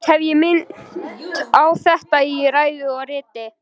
Oft hef ég minnt á þetta í ræðu og riti.